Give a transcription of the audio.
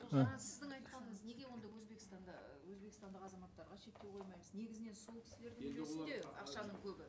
ол жаңа сіздің айтқаныңыз неге онда өзбекстанға өзбекстандық азаматтарға шектеу қоймаймыз негізінен сол кісілер енді олар ақшаның көбі